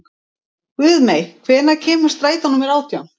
Guðmey, hvenær kemur strætó númer átján?